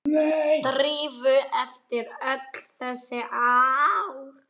Drífu eftir öll þessi ár.